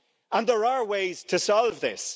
And there are ways to solve this.